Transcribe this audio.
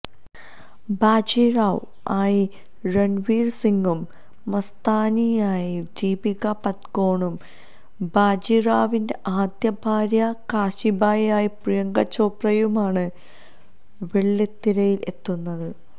ബാജിറാവ് ആയി രണ്വീര് സിങ്ങും മസ്താനിയായി ദീപിക പദുകോണും ബാജിറാവിന്റെ ആദ്യ ഭാര്യ കാശിബായിയായി പ്രിയങ്ക ചോപ്രയുമാണ് വെള്ളിത്തിരയില് എത്തുന്നത്